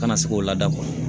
Kana se k'o lada